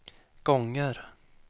gånger